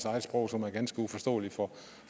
eget sprog som er ganske uforståeligt for